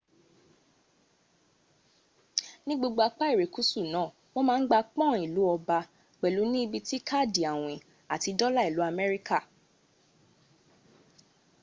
ní gbogbo apa irekusu naa wọ́n ma n gba pọ́n ìlú ọba pẹ̀lú ní ibi tí káàdì àwìn àti dola ìlú amerika